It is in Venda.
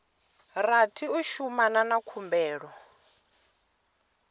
rathi u shumana na khumbelo